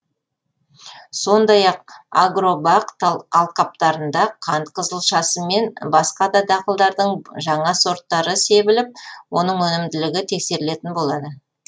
сондай ақ агробақ алқаптарында қант қызылшасы мен басқа да дақылдардың жаңа сорттары себіліп оның өнімділігі тексерілетін болады